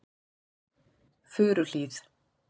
Furuhlíð